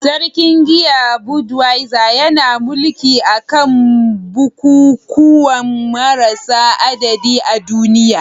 Sarkin giya, Budweiser, yana mulki a kan bukukuwa marasa adadi a duniya.